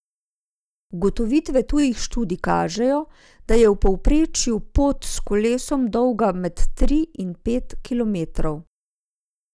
Ugotovitve tujih študij kažejo, da je v povprečju pot s kolesom dolga med tri in pet kilometrov.